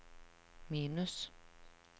minus